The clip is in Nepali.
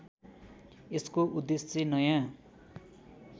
यसको उद्देश्य नयाँ